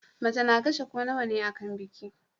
Mace na kashe ko nawane akan biki